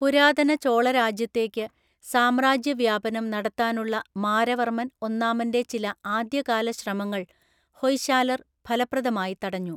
പുരാതന ചോളരാജ്യത്തേക്ക് സാമ്രാജ്യവ്യാപനം നടത്താനുള്ള മാരവർമ്മൻ ഒന്നാമന്‍റെ ചില ആദ്യകാല ശ്രമങ്ങൾ ഹൊയ്ശാലര്‍ ഫലപ്രദമായി തടഞ്ഞു.